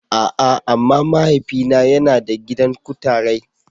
A'a! amma mahaifina yana da gidan kutarai.